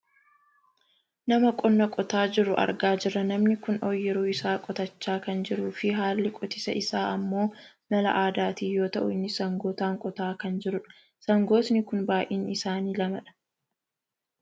Nama qonna qotaa jiru argaa jirra. Namni kun ooyiruu isaa qotachaa kan jiruufi haalli qotisa isaa ammoo mala aadaatiin yoo ta'u innis sangootaan qotaa kan jirudha. Sangootni kun baayyinni isaanii lamadha.